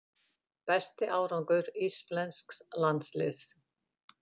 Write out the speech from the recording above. Besti árangur íslensks landsliðs